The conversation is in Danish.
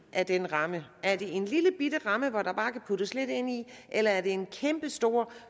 af den ramme er det en lillebitte ramme der bare kan puttes lidt ind i eller er det en kæmpestor